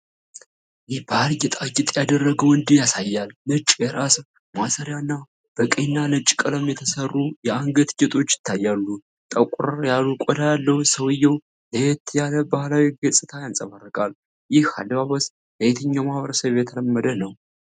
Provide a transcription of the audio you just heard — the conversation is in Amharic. የባህል ጌጣጌጥ ያደረገ ወንድ ያሳያል። ነጭ የራስ ማሰሪያ እና በቀይና ነጭ ቀለም የተሠሩ የአንገት ጌጦች ይታያሉ። ጠቆር ያለ ቆዳ ያለው ሰውየው ለየት ያለ ባህላዊ ገፅታን ያንፀባርቃል። ይህ አለባበስ ለየትኛው ማኅበረሰብ የተለመደ ነው?